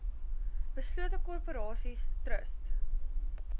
beslote korporasies trust